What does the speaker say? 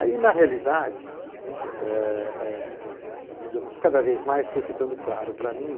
Aí, na realidade, e, e, digamos cada vez mais foi ficando claro para mim